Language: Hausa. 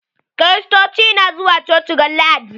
Kiristoci na zuwa coci ran lahadi.